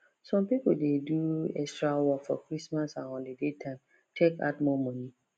some people dey do extra work for christmas and holiday time take add more money